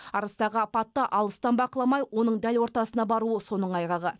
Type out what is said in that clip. арыстағы апатты алыстан бақыламай оның дәл ортасына баруы соның айғағы